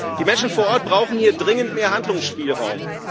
Die Menschen vor Ort brauchen hier dringend mehr Handlungsspielraum.